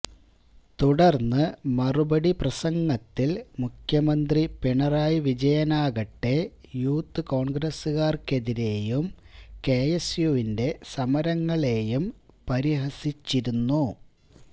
തുടർന്ന് മറുപടി പ്രസംഗത്തിൽ മുഖ്യമന്ത്രി പിണറായി വിജയനാകട്ടെ യൂത്ത് കോൺഗ്രസുകാർക്കെതിരെയും കെഎസ്യുവിന്റെ സമരങ്ങളെയും പരിഹസിച്ചിരുന്നു